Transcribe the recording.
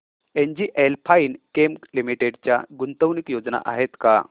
NGL Finechem limited च्या गुंतवणूक योजना आहेत का